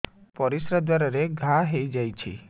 ପରିଶ୍ରା ଦ୍ୱାର ରେ ଘା ହେଇଯାଇଛି